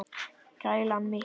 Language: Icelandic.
Kælan mikla.